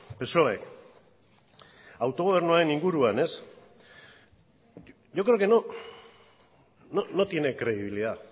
psoe autogobernuaren inguruan ez yo creo que no no tiene credibilidad